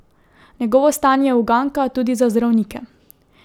Njegovo stanje je uganka tudi za zdravnike.